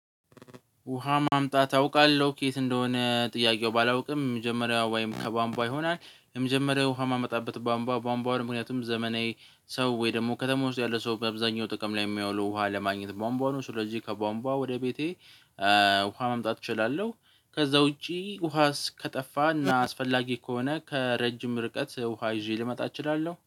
ውሃ ማምጣት አውቃለው? ከየት እንደሆነ ጥያቄው ባላውቅም መጀመሪያው ወይም ከቧምቧ ይሆናል የመጀመሪያው ውሃ ማመጣበት ቧምቧ ቧምቧውን ምክንያቱም ዘመናዊ ሰው ወይ ደግሞ ከተማ ውስጥ ያለ ሰው በአብዛኛው ጥቅም ላይ የሚያውለው ውሃ ለማግኘት ቧምቧ ነው ስለዚህ ከቧምቧ ወደ ቤቴ ውሃ ማምጣት እችላለው። ከዛ ውጪ ውሃ ከጠፋና አስፈላጊ ከሆነ ከረጅም ርቀት ውሃ ይዤ ልመጣ እችላለው